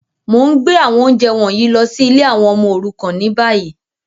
Mo n gbé àwọn ounjẹ wọ̀nyí lọ si ìlé àwon ọmọ òrukàn ni bayi.